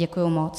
Děkuji moc.